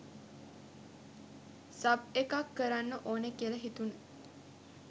Sub එකක් කරන්න ඕන කියල හිතුණ.